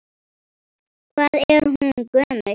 Hvað er hún gömul?